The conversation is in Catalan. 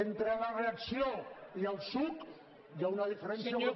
entre la reacció i el psuc hi ha una diferència brutal